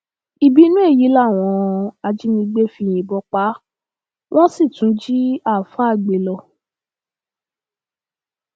ìbínú èyí làwọn ajínigbé fi yìnbọn pa á wọn sì tún jí àáfàá gbé lọ